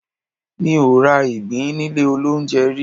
Mi ò ra ìgbín nílé olóunjẹ rí.